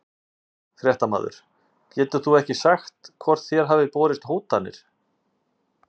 Fréttamaður: Getur þú ekki sagt hvort þér hafa borist hótanir?